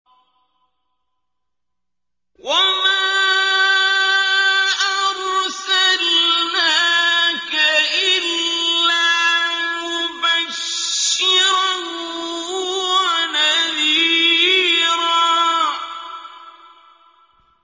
وَمَا أَرْسَلْنَاكَ إِلَّا مُبَشِّرًا وَنَذِيرًا